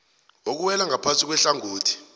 okuwela ngaphasi kwehlangothi